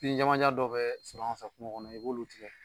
Bin jamanjan dɔ bɛɛ sɔr'an fɛ kuŋo kɔnɔ i b'olu tigɛ